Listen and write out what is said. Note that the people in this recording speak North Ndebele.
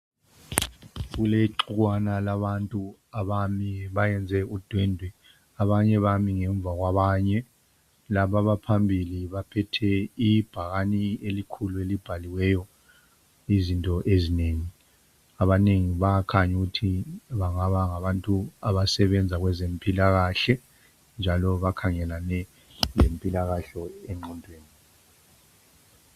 Kulexukwana labantu abami bayenze udwendwe abanye bami ngemva kwabanye, laba abaphambili baphethe ibhakane elikhulu elibhaliweyo izinto ezinengi. Abanengi bayakhanya ukuthi bangaba ngabantu abasebenza kwezempilakahle njalo bakhangelane lempilakahle engqondweni.